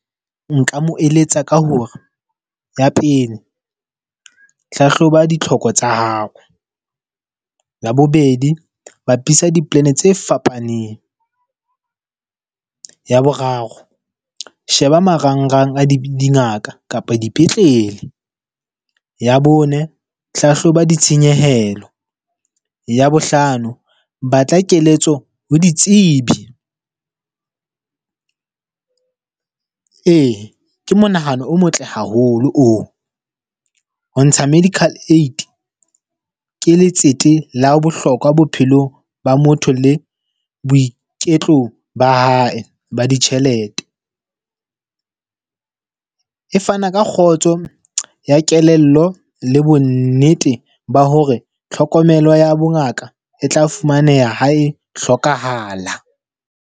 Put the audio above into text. Nka mo eletsa ka hore, ya pele hlahloba ditlhoko tsa hao. Ya bobedi, bapisa di-plan tse fapaneng. Ya boraro, sheba marangrang a di dingaka kapa dipetlele. Ya bone, hlahloba ditshenyehelo. Ya bohlano, batla keletso ho ditsebi. ee, ke monahano o motle haholo oo. Ho ntsha medical aid ke letsete la bohlokwa bophelong ba motho le boiketlo ba hae e ba ditjhelete. E fana ka kgotso ya kelello le bo nnete ba hore tlhokomelo ya bongaka e tla fumaneha ha e hlokahala.